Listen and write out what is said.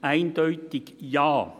«Eindeutig Ja.